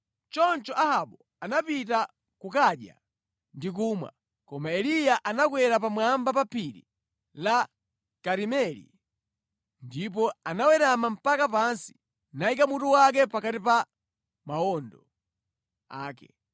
Choncho Ahabu anapita kukadya ndi kumwa, koma Eliya anakwera pamwamba pa Phiri la Karimeli, ndipo anawerama mpaka pansi, nayika mutu wake pakati pa mawondo ake.